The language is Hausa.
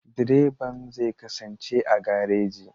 Direban zai kasance a gareji.